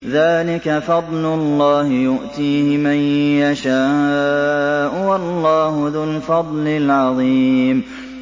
ذَٰلِكَ فَضْلُ اللَّهِ يُؤْتِيهِ مَن يَشَاءُ ۚ وَاللَّهُ ذُو الْفَضْلِ الْعَظِيمِ